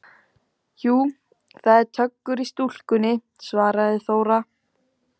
Jú, það er töggur í stúlkunni, svaraði Þóra.